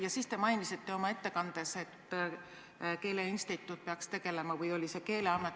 Ja siis te mainisite oma ettekandes, et keeleinstituut peaks tegelema – või oli see Keeleamet?